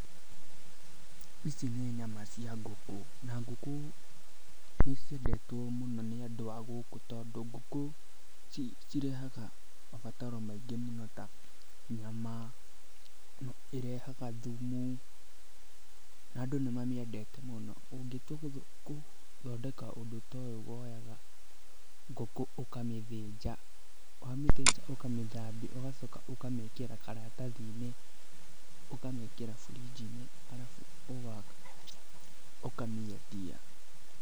Ici nĩ nyama cia ngũkũ, na ngũku nĩ ciendetwo mũno nĩ andũ a gũkũ tondũ ngũkũ, cirehaga mabataro maingĩ mũno ta, nyama, irehaga thumu, na andũ nĩ mamĩendete mũno. Ungĩtua gũthondeka ũndũ ta ũyu, ũkuoya ngũkũ ukamĩthĩnja, wamĩthĩnja ukamĩthambia ugacoka ũkamĩĩkĩra karatathi-inĩ, ukamiikĩra burinji-inĩ, ugacoka ukamĩendia.